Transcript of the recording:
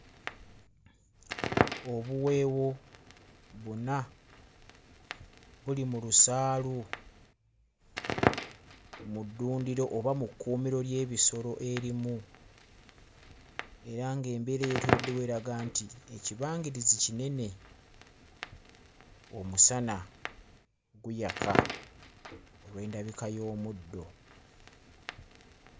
Obuweewo buna buli mu lusaalu mu ddundiro oba mu kkuumiro ly'ebisolo erimu. Era ng'embeera eyeetooloddewo eraga nti ekibangirizi kinene, omusana guyaka olw'endabika y'omuddo.